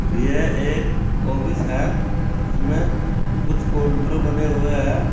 यह एक ऑफिस है जिसमें कुछ काउंटर बने हुए हैं।